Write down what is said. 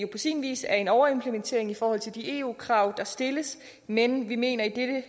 på sin vis er en overimplementering i forhold til de eu krav der stilles men vi mener